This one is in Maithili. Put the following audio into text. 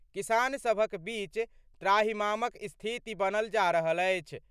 किसान सभक बीच त्राहिमामक स्थिति बनल जा रहल अछि।